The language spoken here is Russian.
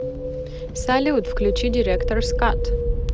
салют включи директорс кат